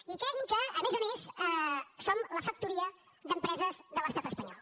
i cregui’m que a més a més som la factoria d’empreses de l’estat espanyol